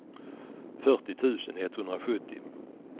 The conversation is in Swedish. fyrtio tusen etthundrasjuttio